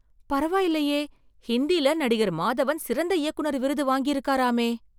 பரவாயில்லையே ஹிந்தில நடிகர் மாதவன் சிறந்த இயக்குனர் விருது வாங்கி இருக்காராமே